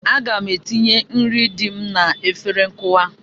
Aga m etinye nri dị m n'efere nkụwa.